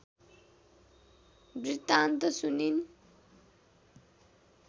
वृत्तान्त सुनिन्